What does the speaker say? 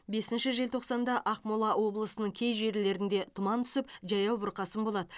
бесінші желтоқсанда ақмола облысының кей жерлерінде тұман түсіп жаяу бұрқасын болады